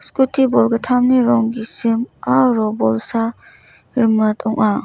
scooty bolgittamni rong gisim aro bolsa rimit ong·a.